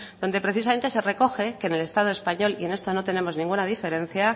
donde precisamente se recoge que en el estado español y en esto no tenemos ninguna diferencia